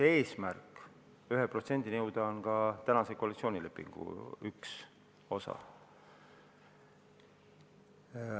Eesmärk 1%-ni jõuda on ka tänase koalitsioonilepingu üks osa.